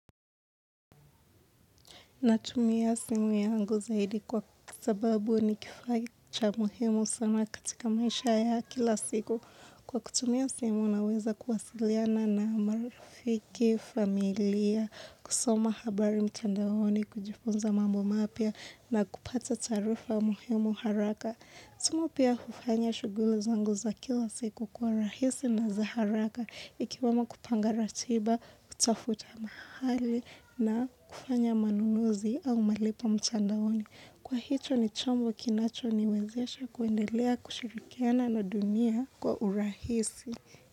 Natumia simu yangu zaidi kwa sababu ni kifaa cha muhimu sana katika maisha ya kila siku. Kwa kutumia simu naweza kuwasiliana na marafiki, familia, kusoma habari mtandaoni, kujifunza mambo mapya na kupata taarifa muhimu haraka. Kusoma pia ufanya shugulu zangu za kila siku kuwa rahisi na za haraka ikiwemo kupanga ratiba, kutafuta mahali na kufanya manunuzi au malipo mtandaoni. Kwa hicho ni chombo kinacho niwezesha kuendelea kushirikiana na dunia kwa urahisi.